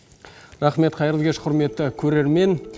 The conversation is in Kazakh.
рахмет қайырлы кеш құрметті көрермен